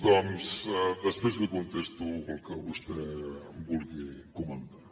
doncs després li contesto el que vostè vulgui comentar